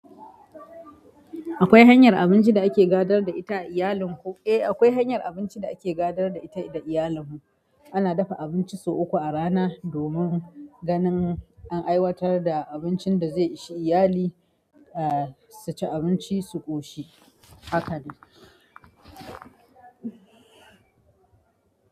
Akwai hanyar abinci da ake gadar da ita da iyalin ku? Eh, akwai hanyar abinci da ake gadar da ita da iyalin mu. Ana dafa abinci sau uku a rana domin ganin an aiwatar da abincin da za su ci iyali, ah su ci abinci su ƙoshi. Haka ne.